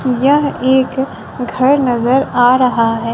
यह एक घर नजर आ रहा है।